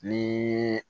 Ni